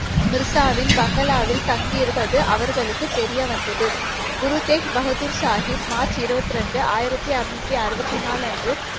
மிர்சாவின் பங்களாவில் தங்கியிருப்பது அவர்களுக்கு தெரிய வந்தது. குரு தேக் பகதூர் சாகிப் மார்ச் இருபத்தி இரண்டு, ஆயிரத்தி அறுநூற்றி அறுபத்தி நாலு அன்று